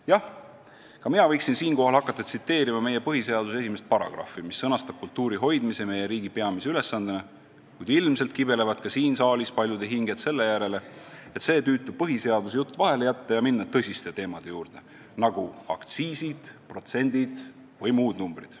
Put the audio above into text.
Jah, ka mina võiksin siinkohal hakata tsiteerima meie põhiseaduse esimest paragrahvi, mis sõnastab kultuuri hoidmise meie riigi peamise ülesandena, kuid ilmselt kibelevad ka siin saalis paljude hinged selle järele, et saaks selle tüütu põhiseaduse jutu vahele jätta ja minna tõsiste teemade juurde, nagu aktsiisid, protsendid või muud numbrid.